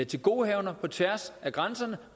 tilgodehavender på tværs af grænserne